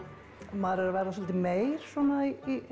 maður er að verða svolítið meyr svona